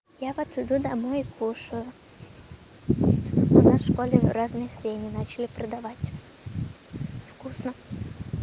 я вот иду домой и кушаю у нас в школе разные хрени начали продавать вкусно